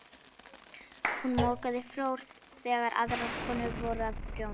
Hún mokaði flór þegar aðrar konur voru að prjóna.